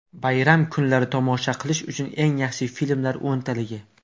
Bayram kunlari tomosha qilish uchun eng yaxshi filmlar o‘ntaligi.